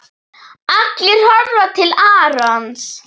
Allir horfa til Arons.